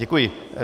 Děkuji.